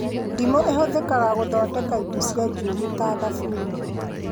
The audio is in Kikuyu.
Ndimũ ĩhũthĩkaga gũthondeka indo cia njuĩrĩ ta thabuni